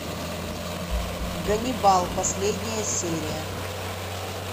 ганнибал последняя серия